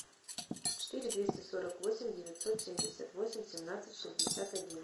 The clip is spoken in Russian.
четыре двести сорок восемь девятьсот семьдесят восемь семнадцать шестьдесят один